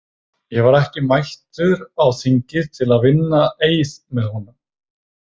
Ég var ekki mættur á þingið til að vinna eið með honum.